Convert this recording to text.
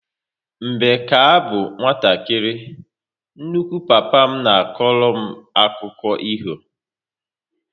Mgbe ka abụ nwatakịrị, nnukwu papa m na akọrọ m akụkụ ifo